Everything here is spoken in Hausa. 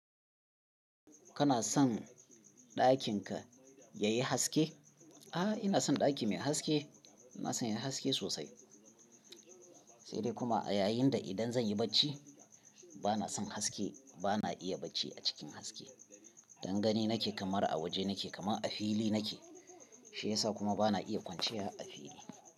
Kana son ɗakin ka yayi haske? A'a, ina son ɗaki mai haske. Ina son yayi haske sosai. Sai dai kuma a yayin da idan zan yi bacci bana son haske. Bana iya bacci a cikin haske. Don gani nake kamar a waje nake kamar a fili nake. Shi yasa kuma bana iya kwanciya a fili.